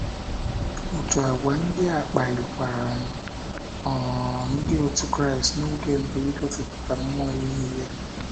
Otu àgwà ndị a kpalikwaran um ndị otu Kraịst n'oge mbụ igosipụta mmụọ inye ihe.